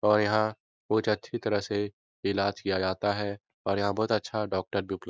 और यहाँ बहुत अच्छी तरह से इलाज किया जाता है और यहाँ बहुत अच्छा डॉक्टर भी उपलब्ध --